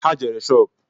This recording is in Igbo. Ha jere shopu